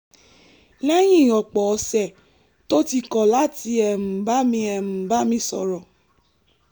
lẹ́yìn ọ̀pọ̀ ọ̀sẹ̀ tó ti kọ̀ láti um bá mi um bá mi sọ̀rọ̀